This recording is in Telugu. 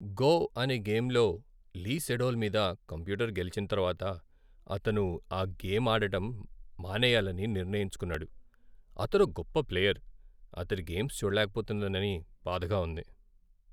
గో' అనే గేమ్లో లీ సెడోల్ మీద కంప్యూటర్ గెలిచిన తర్వాత అతను ఆ గేమ్ ఆడటం మానేయాలని నిర్ణయించుకున్నాడు. అతడో గొప్ప ప్లేయర్, అతడి గేమ్స్ చూడలేకపోతున్నానని బాధగా ఉంది.